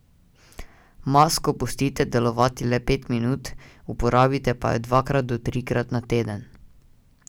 Masko pustite delovati le pet minut, uporabite pa jo dvakrat do trikrat na teden.